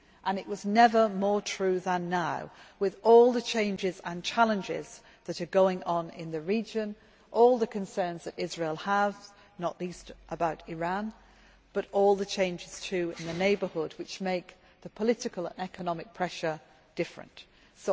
That was never more true than now, with all the changes and challenges that are going on in the region, all the concerns that Israel has not least about Iran and all the changes too in the neighbourhood, which change the nature of the political and economic pressure being exerted.